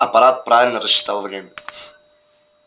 апорат правильно рассчитал время